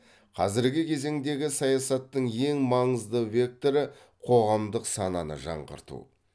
қазіргі кезеңдегі саясаттың ең маңызды векторы қоғамдық сананы жаңғырту